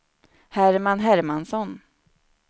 Herman Hermansson